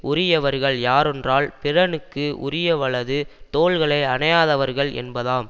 உரியவர்கள் யாரொன்றால் பிறனுக்கு உரியவளது தோள்களை அணையாதவர்கள் என்பதாம்